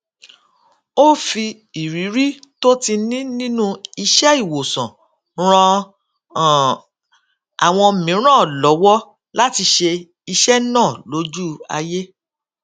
ó fi ìrírí tó ti ní nínú iṣẹiwosan ran um àwọn mìíràn lówó láti ṣe iṣẹ naa loju aye